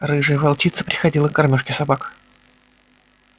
рыжая волчица приходила к кормёжке собак